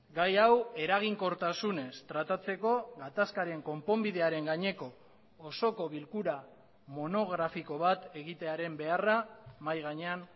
gai hau eraginkortasunez tratatzeko gatazkaren konponbidearen gaineko osoko bilkura monografiko bat egitearen beharra mahai gainean